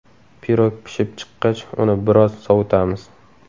Pirog pishib chiqqach, uni biroz sovitamiz.